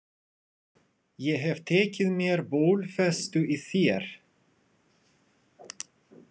Ég hef tekið mér bólfestu í þér.